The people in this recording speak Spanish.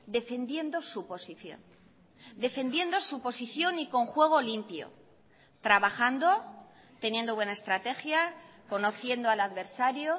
defendiendo su posición defendiendo su posición y con juego limpio trabajando teniendo buena estrategia conociendo al adversario